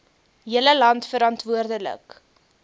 hele land verantwoordelik